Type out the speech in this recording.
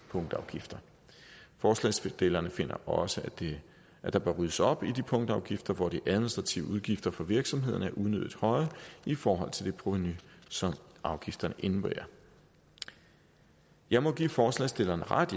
punktafgifter forslagsstillerne finder også at der bør ryddes op i de punktafgifter hvor de administrative udgifter for virksomhederne er unødig høje i forhold til det provenu som afgifterne indebærer jeg må give forslagsstillerne ret